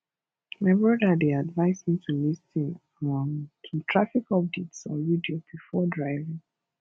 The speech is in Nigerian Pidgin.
my brother dey advise me to lis ten um to traffic updates on radio before driving